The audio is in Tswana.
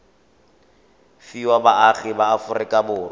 fiwa baagi ba aforika borwa